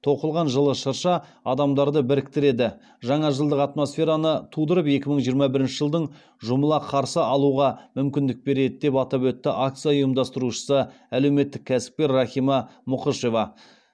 тоқылған жылы шырша адамдарды біріктіреді жаңажылдық атмосфераны тудырып екі мың жиырма бірінші жылдың жұмыла қарсы алуға мүмкіндік береді деп атап өтті акция ұйымдастырушысы әлеуметтік кәсіпкер рахима мұқышева